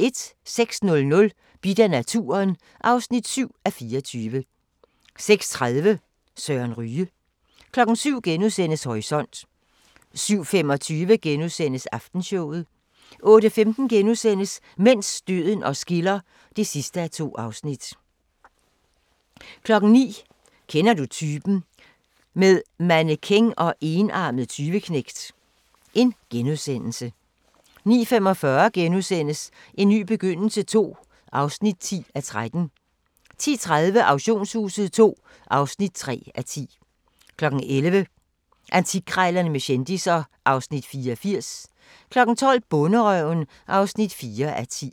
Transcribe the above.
06:00: Bidt af naturen (7:24) 06:30: Søren Ryge 07:00: Horisont * 07:25: Aftenshowet * 08:15: Mens døden os skiller (2:2)* 09:00: Kender du typen? - med mannequin og enarmet tyveknægt * 09:45: En ny begyndelse II (10:13)* 10:30: Auktionshuset II (3:10) 11:00: Antikkrejlerne med kendisser (Afs. 84) 12:00: Bonderøven (4:10)